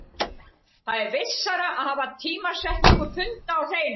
Það er vissara að hafa tímasetningu funda á hreinu.